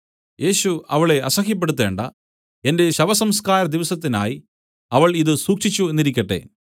യേശു അവളെ അസഹ്യപ്പെടുത്തേണ്ട എന്റെ ശവസംസ്ക്കാര ദിവസത്തിനായി അവൾ ഇതു സൂക്ഷിച്ചു എന്നിരിക്കട്ടെ